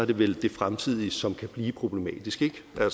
det vel det fremtidige som kan blive problematisk